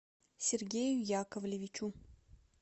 сергею яковлевичу